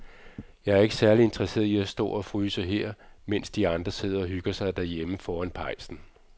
Jeg er ikke særlig interesseret i at stå og fryse her, mens de andre sidder og hygger sig derhjemme foran pejsen.